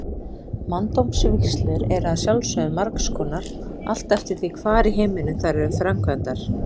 Manndómsvígslur eru að sjálfsögðu margs konar, allt eftir því hvar í heiminum þær eru framkvæmdar.